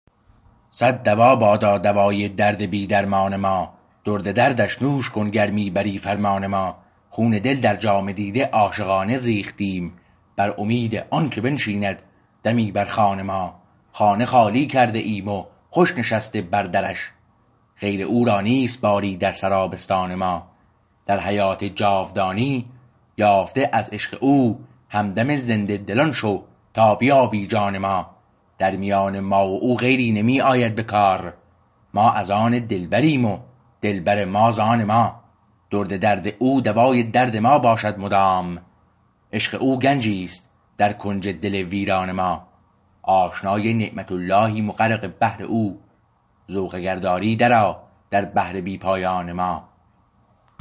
صد دوا بادا دوای درد بی درمان ما درد دردش نوش کن گر می بری فرمان ما خون دل در جام دیده عاشقانه ریختیم بر امید آنکه بنشیند دمی بر خوان ما خانه خالی کرده ایم و خوش نشسته بر درش غیر او را نیست باری در سرا بستان ما در حیات جاودانی یافته از عشق او همدم زنده دلان شو تا بیابی جان ما در میان ما و او غیری نمی آید به کار ما از آن دلبریم و دلبر ما ز آن ما درد درد او دوای درد ما باشد مدام عشق او گنجیست در کنج دل ویران ما آشنای نعمت اللهیم و غرق بحر او ذوق اگر داری درآ در بحر بی پایان ما